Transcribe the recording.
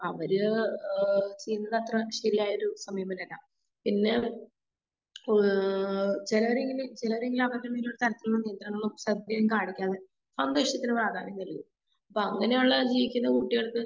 അവര് ഏഹ് ചെയ്യുന്നതത്രേ ശെരിയായൊരു സമീപനല്ല. പിന്നെ ഏഹ് ചെലരിങ്ങനെ ചെലര് ഇങ്ങനെ ചെലര് കാണിക്കാം. സ്വന്തം ഇഷ്ടത്തിന് പ്രാധാന്യം തരും. അപ്പോ അങ്ങനേയുള്ള ജീവിക്കുന്ന കുട്ടികൾക്ക്